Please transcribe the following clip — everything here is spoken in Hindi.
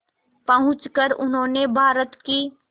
पहुंचकर उन्होंने भारत की